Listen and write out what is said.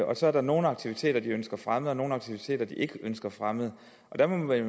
og så er der nogle aktiviteter de ønsker fremmet og nogle aktiviteter de ikke ønsker fremmet der må man vel